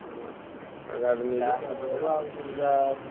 ହୁଁ ଆଉ ଗାଡିରେ ନେଇଯିବା ତାପରେ